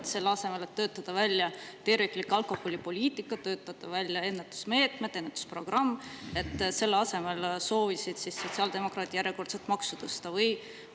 Kas selle asemel, et töötada välja terviklik alkoholipoliitika, töötada välja ennetusmeetmed, ennetusprogramm, soovisid sotsiaaldemokraat järjekordset maksu tõsta?